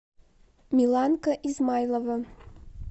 миланка измайлова